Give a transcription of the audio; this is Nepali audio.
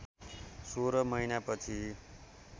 सोह्र महिना पछि